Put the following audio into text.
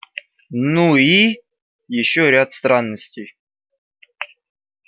ну и ещё ряд странностей